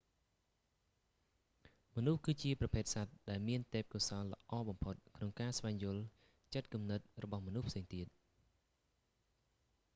មនុស្ស គឺជាប្រភេទសត្វ ដែលមានទេពកោសល្យល្អបំផុតក្នុងការស្វែងយល់ចិត្តគំនិតរបស់មនុស្សផ្សេងទៀត